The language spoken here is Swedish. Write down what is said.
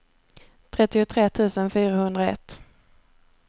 trettiotre tusen fyrahundraett